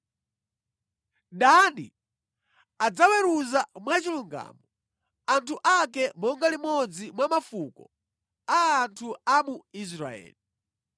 “Dani adzaweruza mwachilungamo anthu ake monga limodzi mwa mafuko a anthu a mu Israeli.